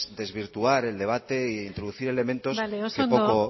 desvirtuar el debate e introducir elementos que poco